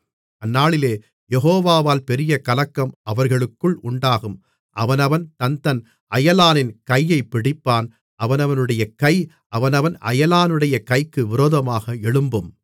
அந்நாளிலே யெகோவால் பெரிய கலக்கம் அவர்களுக்குள் உண்டாகும் அவனவன் தன்தன் அயலானின் கையைப் பிடிப்பான் அவனவனுடைய கை அவனவன் அயலானுடைய கைக்கு விரோதமாக எழும்பும்